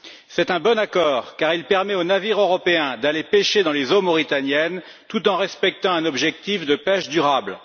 C'est un bon accord, car il permet aux navires européens d'aller pêcher dans les eaux mauritaniennes, tout en respectant un objectif de pêche durable.